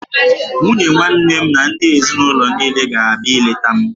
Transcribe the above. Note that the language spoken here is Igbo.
Nwunye nwanne m na ndị ezinaụlọ niile ga-abịa ileta m